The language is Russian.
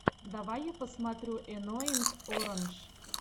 давай я посмотрю энноинг орандж